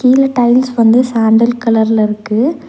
கீழ டைல்ஸ் வந்து சாண்டல் கலர்ல இருக்கு.